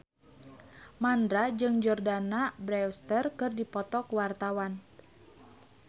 Mandra jeung Jordana Brewster keur dipoto ku wartawan